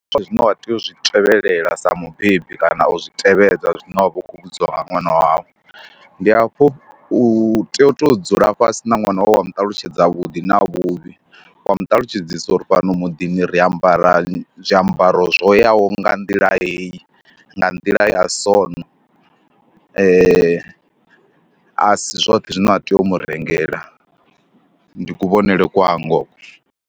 Sa zwine wa tea u zwi tevhelela sa mubebi kana u zwi tevhedzwa zwine wa vha u khou vhudziwa nga ṅwana wau, ndi hafho u tea u tou dzula fhasi na ṅwana wau wa mu ṱalutshedza vhuḓi na vhuvhi, wa mu ṱalutshedzisa uri fhano muḓini ri ri ambara zwiambaro zwo yaho nga nḓila hei, nga nḓila ya sona. A si zwoṱhe zwine wa tea u mu rengela, ndi kuvhonele kwanga hoko.